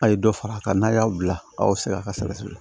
A' ye dɔ fara a kan n'a y'aw bila a y'aw sɛgɛn a ka sɛgɛsɛgɛ